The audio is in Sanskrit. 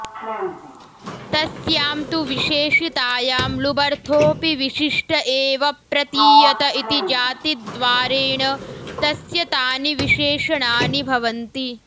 तस्यां तु विशेषितायां लुबर्थोऽपि विशिष्ट एव प्रतीयत इति जातिद्वारेण तस्य तानि विशेषणानि भवन्ति